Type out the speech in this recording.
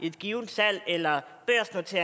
et givet salg eller